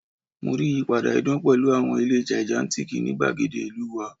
Mo rii iyipada idan pẹlu awọn ile gigantic ni igbagede ilu wa